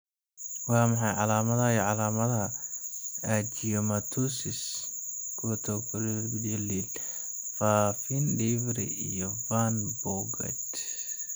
Waa maxay calaamadaha iyo calaamadaha Angiomatosis, corticomeningeal faafin, Divry iyo Van Bogaert?